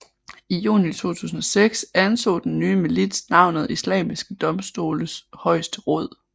I juni 2006 antog den nye milits navnet Islamiske domstoles højeste råd